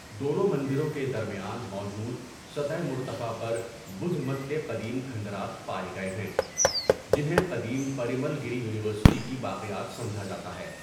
دونوں مندروں کے درمیان موجود سطح مرتفع پر بدھ مت کے قدیم کھنڈرات پائے گئے ہیں، جنہیں قدیم پریمل گیری یونیورسٹی کی باقیات سمجھا جاتا ہے۔